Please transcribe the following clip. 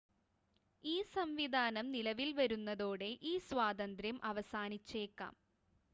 ഈ സംവിധാനം നിലവിൽ വരുന്നതോടെ ഈ സ്വാതന്ത്ര്യം അവസാനിച്ചേക്കാം